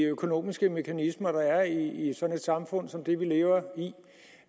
de økonomiske mekanismer der er i et samfund som det vi lever i